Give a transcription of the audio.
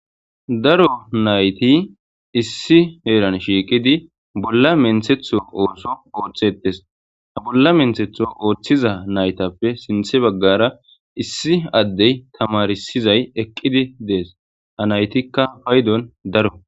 Daro naythi issi heran shiqidi bolla minthetho osso othethes ha bolla minthetho othiza naythape sinththa bagara issi adde tamarisizay eqqidi dees ha naythikka paydon dora.